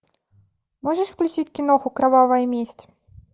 можешь включить киноху кровавая месть